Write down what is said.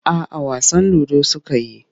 A'a wasan ludo suka yi.